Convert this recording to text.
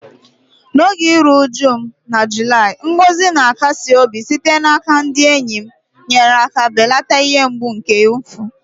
N’oge iru uju m na Julaị, ngọzi na-akasi obi sitere n’aka ndị enyi m nyere aka belata ihe mgbu nke mfu.